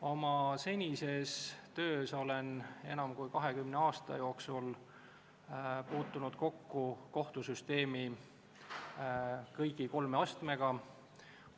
Oma senises töös olen enam kui 20 aasta jooksul puutunud kokku kõigi kolme kohtusüsteemi astmega.